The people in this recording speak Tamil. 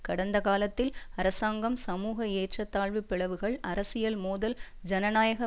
கடந்தகாலத்தில் அரசாங்கம் சமூக ஏற்றத்தாழ்வு பிளவுகள் அரசியல் மோதல் ஜனநாயக